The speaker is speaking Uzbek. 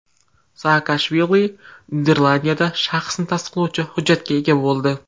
Saakashvili Niderlandiyada shaxsni tasdiqlovchi hujjatga ega bo‘ldi.